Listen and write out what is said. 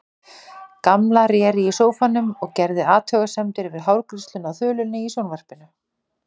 Gamla réri í sófanum og gerði athugasemdir við hárgreiðsluna á þulunni í sjónvarpinu.